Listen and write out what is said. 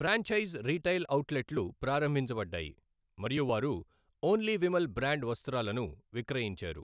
Franchise retail అవుట్లెట్లు ప్రారంభించబడ్డాయి మరియు వారు ఓన్లీ విమల్ బ్రాండ్ వస్త్రాలను విక్రయించారు.